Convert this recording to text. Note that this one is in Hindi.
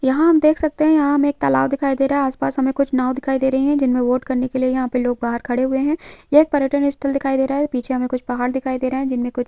यहाँ हम देख सकते हैं यहाँ हमें एक तालाब दिखाई दे रहा है आस-पास हमें कुछ नाव दिखाई दे रही हैं जिनमे बोट करने के लिए यहाँ पे लोग बाहर खड़े हुए हैं यह एक पयर्टक स्थल दिखाई दे रहा है पीछे हमें कुछ पहाड़ दिखाई दे रहे हैं जिनमे कुछ --